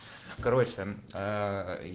короче